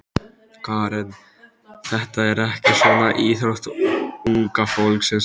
Karen: Þetta er ekki svona íþrótt unga fólksins?